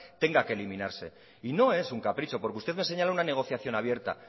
tenga que eliminarse y no es un capricho porque usted me señala una negociación abierta